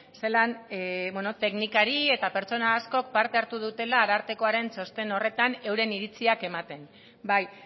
zelan teknikari eta pertsona askok parte hartu dutela arartekoaren txosten horretan euren iritziak ematen bai